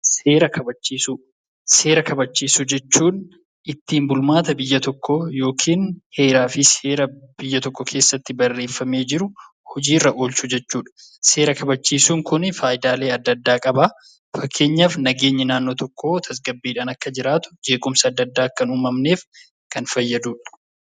Seera kabachiisuu Seera kabachiisuu jechuun ittiin bulmaata biyya tokkoo (heeraa fi seera biyya tokko keessatti barreeffamee jiru) hojiirra oolchuu jechuu dha. Seera kabachiisuun kun faayidaalee adda addaa qaba. Fakkeenyaaf, nageenyi naannoo tokkoo tasgabbiidhaan akka jiraatu, jeequmsi adda addaa akka hin uumamneef kan fayyadu dha.